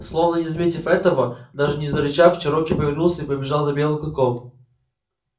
словно не заметив этого даже не зарычав чероки повернулся и побежал за белым клыком